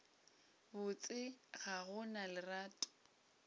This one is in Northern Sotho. botse ga go na lerato